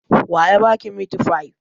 Wa ya ba ki mitifai?